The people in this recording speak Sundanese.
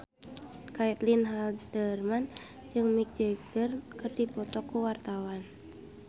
Caitlin Halderman jeung Mick Jagger keur dipoto ku wartawan